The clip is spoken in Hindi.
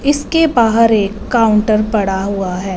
इसके बाहर एक काउंटर पड़ा हुआ है।